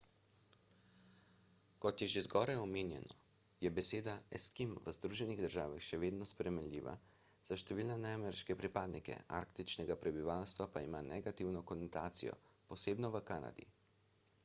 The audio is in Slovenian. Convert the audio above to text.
kot je že zgoraj omenjeno je beseda eskim v združenih državah še vedno sprejemljiva za številne neameriške pripadnike arktičnega prebivalstva pa ima negativno konotacijo posebno v kanadi